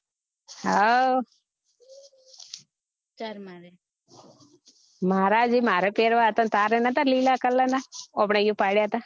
હઉ મારા જે મારે પેરવા હતા તારે નતા લીલા color ના આપને અહિયાં પાડ્યા હતા